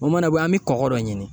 O mana bɔ yen, an be kɔkɔ dɔ ɲini.